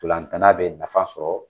Ntolantana bɛ nafa sɔrɔ.